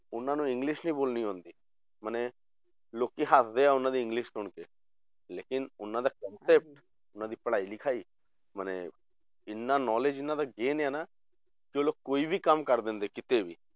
ਉਹਨਾਂ ਨੂੰ english ਨੀ ਬੋਲਣੀ ਆਉਂਦੀ ਮਨੇ ਲੋਕੀ ਹੱਸਦੇ ਆ ਉਹਨਾਂ ਦੀ english ਸੁਣਕੇ ਲੇਕਿੰਨ ਉਹਨਾਂ ਦਾ concept ਉਹਨਾਂ ਦੀ ਪੜ੍ਹਾਈ ਲਿਖਾਈ ਮਨੇ ਇੰਨਾ knowledge ਉਹਨਾਂ ਦਾ gain ਹੈ ਨਾ ਕਿ ਉਹ ਲੋਕ ਕੋਈ ਵੀ ਕੰਮ ਕਰ ਦਿੰਦੇ ਕਿਤੇ ਵੀ